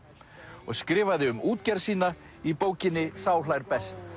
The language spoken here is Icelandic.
og skrifaði um útgerð sína í bókinni sá hlær best